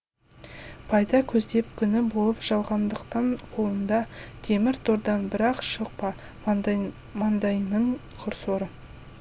пайда көздеп күңі болып жалғандықтың қолында темір тордан бір ақ шықпа маңдайыңның құр соры